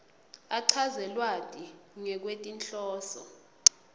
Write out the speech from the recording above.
achaze lwati ngekwetinhloso